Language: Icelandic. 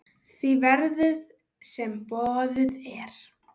því verði, sem boðið er.